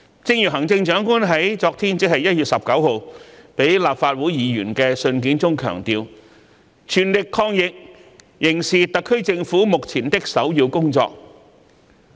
一如行政長官在昨天致立法會議員的信件中所強調，全力抗疫仍是特區政府目前的首要工作。